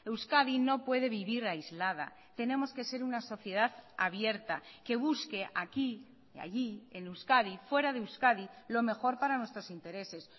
euskadi no puede vivir aislada tenemos que ser una sociedad abierta que busque aquí y allí en euskadi fuera de euskadi lo mejor para nuestros intereses